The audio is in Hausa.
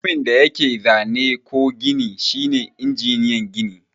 Mutumin da yake zane ko gini shine injiniyan gini.